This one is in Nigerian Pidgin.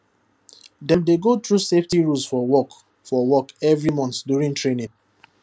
dem dey go through safety rules for work for work every month during training